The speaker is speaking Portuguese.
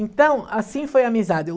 Então, assim foi a amizade.